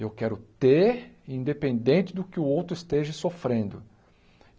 Eu quero ter independente do que o outro esteja sofrendo.